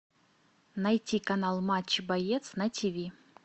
найти канал матч боец на тв